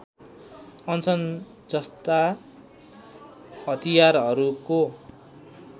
अनसन जस्ता हतियारहरूको